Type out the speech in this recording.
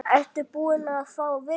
Ertu búin að fá vinnu?